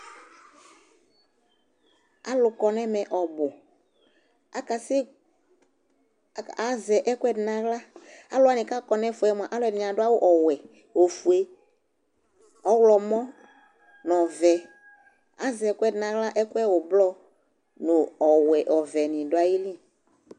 Alʋ kɔ nʋ ɛmɛ ɔbʋ Akasɛ at azɛ ɛkʋɛdɩ nʋ aɣla Alʋ wanɩ kʋ akɔ nʋ ɛfʋ yɛ mʋa, ɛdɩnɩ adʋ awʋ ɔwɛ, ofue, ɔɣlɔmɔ nʋ ɔvɛ Azɛ ɛkʋɛdɩ nʋ aɣla, ɛkʋ yɛ ʋblɔ nʋ ɔwɛ, ɔvɛnɩ dʋ ayili